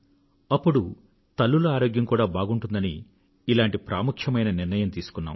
అప్పుడు తల్లుల ఆరోగ్యం కూడా బాగుంటుందని ఇలాంటి ప్రాముఖ్యమైన నిర్ణయం తీసుకున్నాం